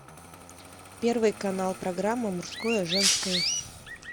первый канал программа мужское женское